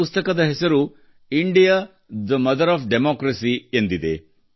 ಈ ಪುಸ್ತಕದ ಹೆಸರು India the mother of democracy ಎಂದಿದೆ